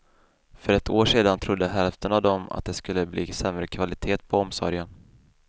För ett år sedan trodde hälften av dem att det skulle bli sämre kvalitet på omsorgen.